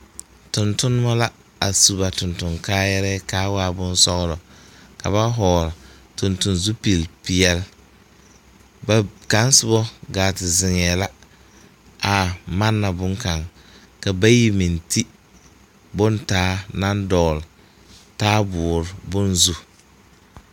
Tontonmɔ la a su ba tonton kaayaarɛɛ kaa waa boŋsɔglɔ ka ba vɔgl tonton zupil peɛl ba kaŋ sobɔ gaa te ziŋɛɛ la a manna boŋkaŋ ka bayi meŋ te bon taa naŋ dɔgl taaboore bon zu.